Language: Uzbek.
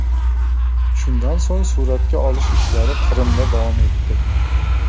Shundan so‘ng suratga olish ishlari Qrimda davom etdi.